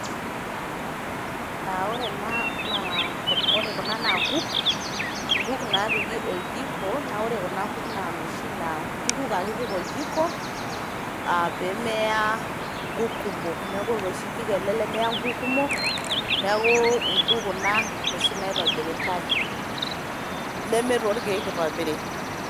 Aa ore ena naa aa ore kuna naa nkuk, nkuk napiki oljiko naa ore kuna kuk naa noshi naa nkuti kuk ake ipik oljiko pemeya kumok. niaku oloshi jiko ele lemeya nkuk kumok niaku nkuk kuna noshi naitobiritae neme irkiek itobirieki.